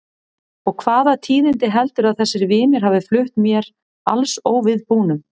Og hvaða tíðindi heldurðu að þessir vinir hafi flutt mér alls óviðbúnum?